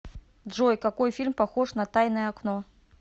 джой какои фильм похож на таиное окно